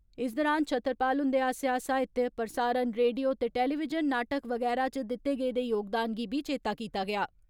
इस दौरान छतरपाल हुंदे आस्सेआ साहित्य, प्रसारण, रेडियो ते टेलीविजन नाटक बगैरा इच दित्ते गेदे योगदान गी बी चेता कीता गेआ।